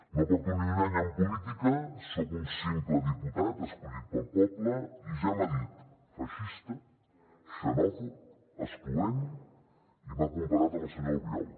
no porto ni un any en política soc un simple diputat escollit pel poble i ja m’ha dit feixista xenòfob excloent i m’ha comparat amb el senyor albiol